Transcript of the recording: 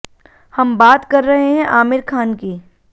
हम बात कर रहे हैं आमिर खान की